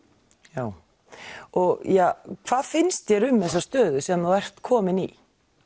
já og hvað finnst þér um þessa stöðu sem þú ert kominn í